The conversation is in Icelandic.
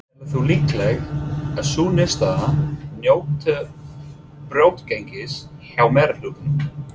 Telur þú líklegt að sú niðurstaða njóti brautargengis hjá meirihlutanum?